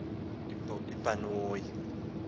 ngezinto zonke na